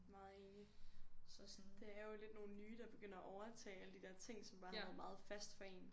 Meget enig synes også sådan det er jo nogen der er begyndt at overtage alle de der ting som bare har været meget fast for en